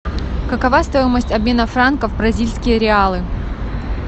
какова стоимость обмена франков в бразильские реалы